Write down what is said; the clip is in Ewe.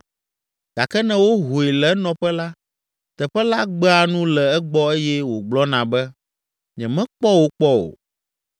Gake ne wohoe le enɔƒe la, teƒe la gbea nu le egbɔ eye wògblɔna be, ‘Nyemekpɔ wò kpɔ o.’